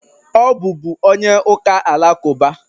Ọ bụbu onye ụka alakụba.